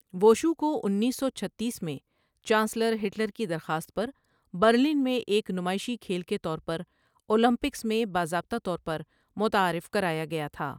Wushu کو انیس سو چھتیس میں چانسلر ہٹلر کی درخواست پر برلن میں ایک نمائشی کھیل کے طور پر اولمپکس میں باضابطہ طور پر متعارف کرایا گیا تھا۔